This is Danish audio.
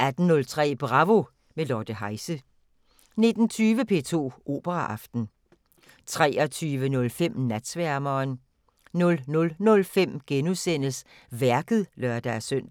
18:03: Bravo – med Lotte Heise 19:20: P2 Operaaften 23:05: Natsværmeren 00:05: Værket *(lør-søn)